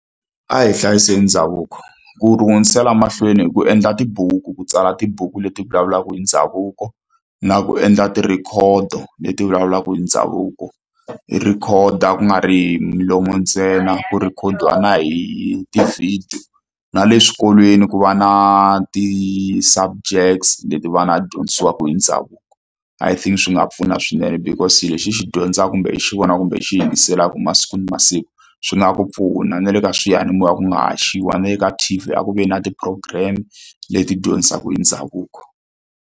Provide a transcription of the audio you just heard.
A hi hlayiseni ndhavuko ku hundzisela mahlweni hi ku endla tibuku ku tsala tibuku leti vulavulaka hi ndhavuko na ku endla tirhikhodo leti vulavulaka hi ndhavuko hi rikhoda ku nga ri hi milomo ntsena ku rhikhodiwa na hi ti-video na le swikolweni ku va na ti-subjects leti va nga dyondzisiwaka hi ndhavuko I think swi nga pfuna swinene because lexi hi xi dyondzaka kumbe hi xi vona kumbe i xi yingiselaka masiku na masiku swi nga ku pfuna na le ka swiyanimoya ku nga haxiwa ni le ka T_V a ku ve na ti-program leti dyondzisaka hi ndhavuko.